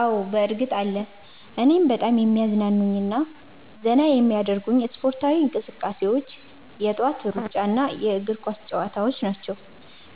አዎ፣ በእርግጥ አለ! እኔን በጣም የሚያዝናኑኝና ዘና የሚያደርጉኝ ስፖርታዊ እንቅስቃሴዎች የጠዋት ሩጫና የእግር ኳስ ጨዋታዎች ናቸው።